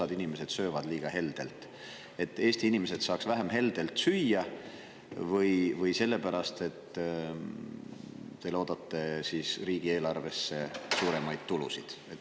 – osa inimesi sööb liiga heldelt, et Eesti inimesed saaksid vähem heldelt süüa, või selle pärast, et te loodate riigieelarvesse suuremaid tulusid?